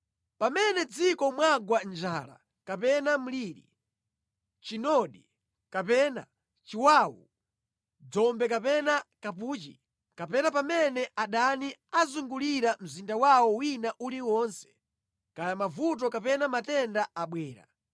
“Pamene mʼdziko mwagwa njala kapena mliri, chinoni kapena chiwawu, dzombe kapena kapuchi, kapena pamene adani azungulira mzinda wawo wina uliwonse, kaya mavuto kapena matenda abwera,